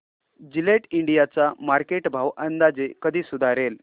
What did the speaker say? Gillette India चा market भाव अंदाजे कधी सुधारेल